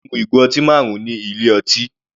Pelumi mu ìgò ọtí marun ní ilé ọtí.